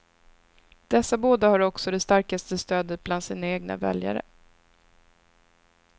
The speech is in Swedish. Dessa båda har också det starkaste stödet bland sina egna väljare.